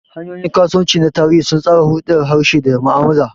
Hanyoyin kasuwanci na tarihi sun tsara hulɗar harshe da mu'amala.